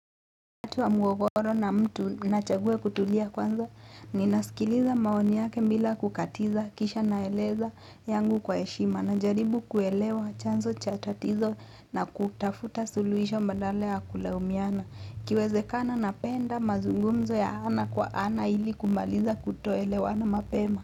Wakati wa mgogoro na mtu nachagua kutulia kwanza, ninaskiliza maoni yake bila kukatiza, kisha naeleza yangu kwa heshima. Najaribu kuelewa chanzo cha tatizo na kutafuta suluhisho badala ya kulaumiana. Ikiwezekana napenda mazungumzo ya ana kwa ana ili kumaliza kutoelewana mapema.